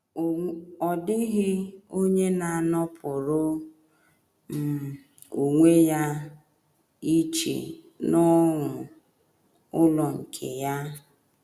Ọ dịghị onye na - anọpụrụ um onwe ya iche n’ọnụ um ụlọ nke um ya.